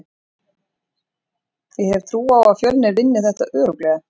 Ég hef trú á að Fjölnir vinni þetta örugglega.